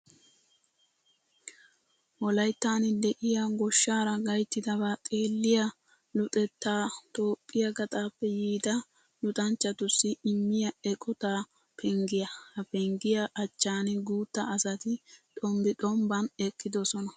Wolayttan de'iya goshshaara gayttidabaa xeelliya luxettaa Toophphiyaa gaxaappe yiida luxanchchatussi immiya eqota penggiyaa. Ha penggiyaa achchan guutta asati xombbi xombban eqqidosona.